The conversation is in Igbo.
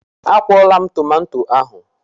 A kwụọla m tomato ahụ.